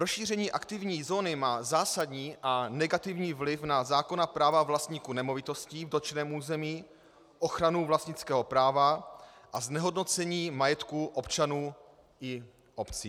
Rozšíření aktivní zóny má zásadní a negativní vliv na zákonná práva vlastníků nemovitostí v dotčeném území, ochranu vlastnického práva a znehodnocení majetku občanů i obcí.